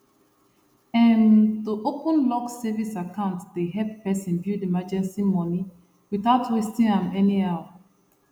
um to open locked savings account dey help person build emergency money without wasting am anyhow